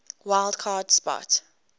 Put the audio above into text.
wild card spot